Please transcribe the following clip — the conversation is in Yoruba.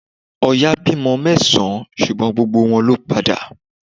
Oya bí ọmọ mẹ́sàn-án ṣùgbọ́n gbogbo wọn ló padà